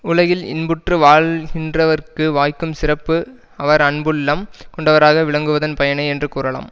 உலகில் இன்புற்று வாழ்கின்றவர்க்கு வாய்க்கும் சிறப்பு அவர் அன்புள்ளம் கொண்டவராக விளங்குவதன் பயனே என்று கூறலாம்